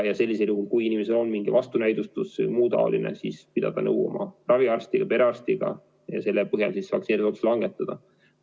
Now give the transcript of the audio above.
Ja sellisel juhul, kui inimesel on mingi vastunäidustus, siis tuleb pidada nõu oma raviarstiga, perearstiga, ja selle põhjal siis vaktsineerimisotsus langetada.